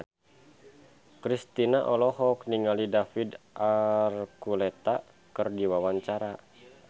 Kristina olohok ningali David Archuletta keur diwawancara